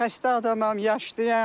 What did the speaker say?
Xəstə adamam, yaşlıyam.